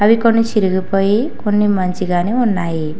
కొన్ని చిరిగిపోయి కొన్ని మంచిగానే ఉన్నాయి.